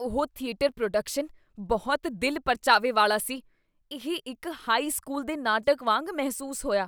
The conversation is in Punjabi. ਉਹ ਥੀਏਟਰ ਪ੍ਰੋਡਕਸ਼ਨ ਬਹੁਤ ਦਿਲ ਪ੍ਰਚਾਵੇ ਵਾਲਾ ਸੀ, ਇਹ ਇੱਕ ਹਾਈ ਸਕੂਲ ਦੇ ਨਾਟਕ ਵਾਂਗ ਮਹਿਸੂਸ ਹੋਇਆ।